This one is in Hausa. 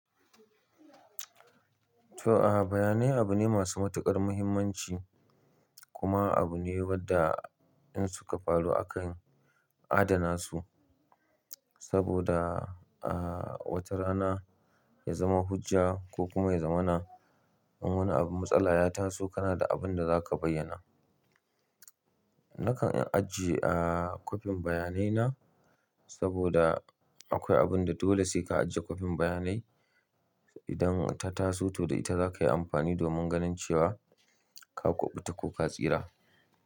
To, a bayane abu ne masu matuƙar muhimmanci kuma abu ne wadda in suka faru akan adana su saboda a wata rana ya zama hujja ko kuma ya zama na wani abu matsala ya taso kana da abinda zaka bayyana. Nakan ajiye a kwafin bayanai na saboda akwai abinda dole sai ka ajiye kwafin bayanai idan ta taso, to da ita zaka yi amfani domin ganin cewa ka kuɓuta ko ka tsira.